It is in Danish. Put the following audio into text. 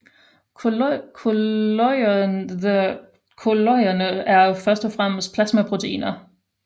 Kolloiderne er først og fremmest plasmaproteiner